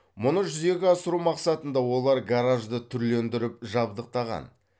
мұны жүзеге асыру мақсатында олар гаражды түрлендіріп жабдықтаған